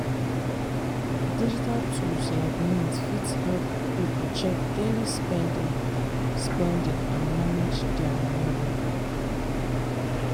digital tools like mint fit help people check daily spending spending and manage their money well.